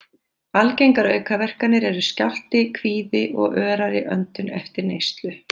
Algengar aukaverkanir eru skjálfti, kvíði og örari öndun eftir neyslu.